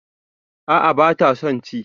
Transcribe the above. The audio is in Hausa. A'a bata son ci